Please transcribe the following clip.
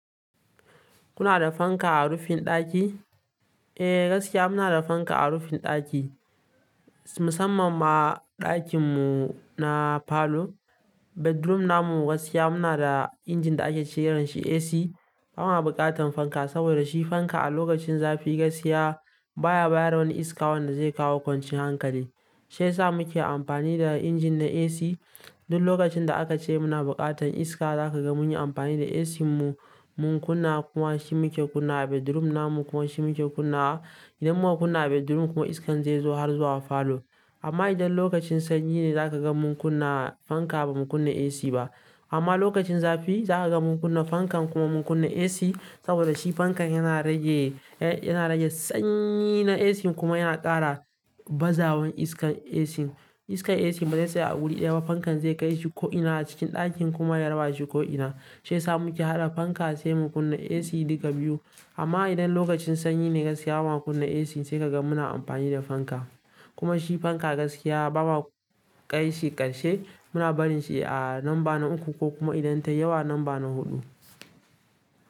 Kuna da fanka a rufin ɗaki? Eh, gaskiya muna da fanka a rufin ɗaki, musamman ma ɗakin mu na falo. Bedroom namu gaskiya muna da injin da ake ce yar da shi AC. Bana buƙatan fanka, saboda shi fanka a lokacin zafi gaskiya baya bayar da wani iska wanda zai kawo kwancin hankali. Shi sa muke amfani da injin na AC. Duk lokacin da aka ce muna buƙatan iska, za ka ga mun yi amfani da AC mu mun kunna, kuma shi muke kunna a bedroom namu kuma shi muke kunna. Idan muka kunna a bedroom kuma iskan zai zo har zuwa falo. Amma idan lokacin sanyi ne, za ka ga mun kunna fanka ba mu kunna AC ba. Amma lokacin zafi. Zaka ga mun kunna fanka kuma mun kunna AC saboda shi fanka yana rage sanyi na AC kuma yana kara bazawan iskan AC. Iskar AC baze tsaya a wuri ɗaya ba fankan zai kai shi ko'ina cikin ɗakin kuma ya raba shi ko'ina. Shi sa muke haɗa fanka sai mu kunna AC duka biyu. Amma idan lokacin sanyi ne gaskiya ba mu kunna AC sai ka ga muna amfani da fanka. Kuma shi fanka gaskiya bawa ƙai shi ƙarshe muna barin shi a numba na uku ko kuma idan ta yawa numba na huɗu.